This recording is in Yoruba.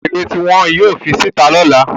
Ogbọ́do wo eré tí wọn yóò fi sí ìta ní ọ̀la